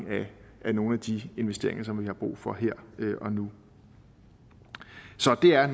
af nogle af de investeringer som vi har brug for her og nu så det er